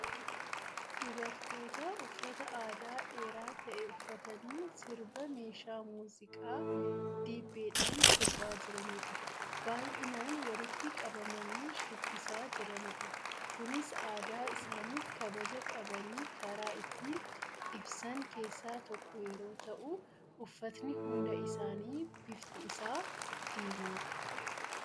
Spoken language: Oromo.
Dubartoota uffata aadaa dheeraa ta'e uffatanii sirba meeshaa muuziqaa dibbeedhaan sirbaa jiranidha. Baay'inaan walitti qabamanii shubbisaa jiranidha. Kunis aadaa isaaniif kabaja qabani karaa ittiin ibsan keessaa tokko yeroo ta'u, uffatni hunda isaanii bifti isaa diimaadha.